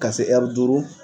Ka se duuru.